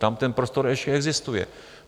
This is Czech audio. Tam ten prostor ještě existuje.